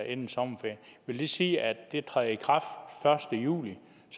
inden sommerferien vil det sige at de træder i kraft første juli